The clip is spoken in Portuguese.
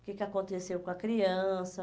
o que que aconteceu com a criança.